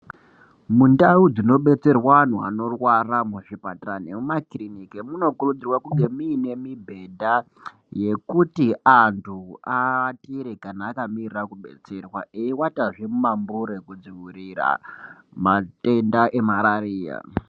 Mundau dzinobetserwa antu anorwara muzvipatara nemumakiriniki munokurudzirwa kunge muine mibhedha yekuti antu aatire kana akamirira kubetserwa eiwatazve mumambure kudzivirira matenda emararia.